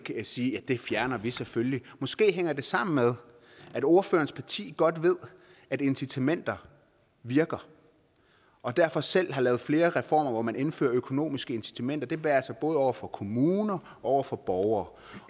sige det fjerner vi selvfølgelig måske hænger det sammen med at ordførerens parti godt ved at incitamenter virker og derfor selv har lavet flere reformer hvor man indfører økonomiske incitamenter det være sig både over for kommuner og over for borgere